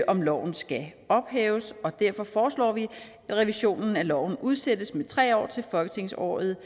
om loven skal ophæves og derfor foreslår vi at revisionen af loven udsættes med tre år til folketingsåret